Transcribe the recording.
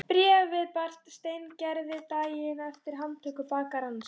Bréfið barst Steingerði daginn eftir handtöku bakarans.